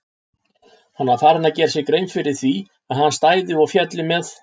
Hann var farinn að gera sér grein fyrir því að hann stæði og félli með